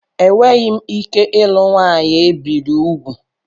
Enweghị m ike ịlụ nwanyị ebiri úgwù.